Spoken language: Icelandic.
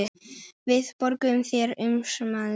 Við borgum þér umsamið gjald